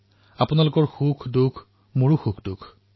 আপোনালোকৰ সুখদুখ মোৰ সুখদুখ